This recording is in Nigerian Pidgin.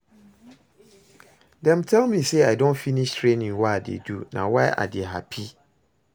Dem tell me say I don finish training wey I dey do na why I dey happy